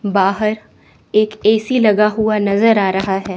बाहर एक ए_सी लगा हुआ नजर आ रहा है।